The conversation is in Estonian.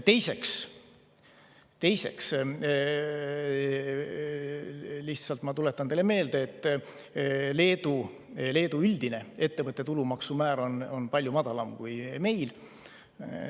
Teiseks, lihtsalt tuletan teile meelde, et Leedus on üldine ettevõtte tulumaksumäär palju madalam kui meil.